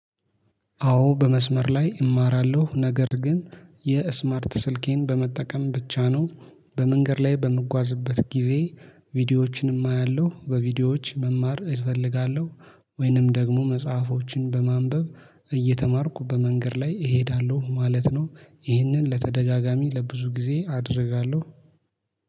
አዎ በመስመር ላይ እማራለሁ ነገር ግን የስማርት ስልኬን በመጠቀም ብቻ ነው። በመንገድ ላይ በምጓዝበት ጊዜ ቪዲዮዎችንም አያለሁ በቪዲዮዎች መማር እፈልጋለሁ። ወይንም ደግሞ መጽሐፎችን በማንበብ እየተማርኩ በመንገድ ላይ እሄዳለሁ ማለት ነው። ይህንን ለተደጋጋሚ ለብዙ ጊዜ አደርጋለሁ